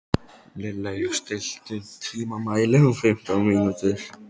Lilley, stilltu tímamælinn á fimmtán mínútur.